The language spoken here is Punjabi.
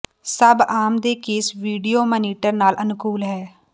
ਸਭ ਆਮ ਦੇ ਕੇਸ ਵੀਡੀਓ ਮਾਨੀਟਰ ਨਾਲ ਅਨੁਕੂਲ ਹੈ